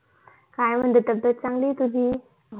काय म्हणते तब्यत चांगली ये का तुझी